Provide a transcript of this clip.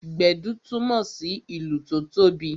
Gbedu túmọ sí ìlù tó tóbi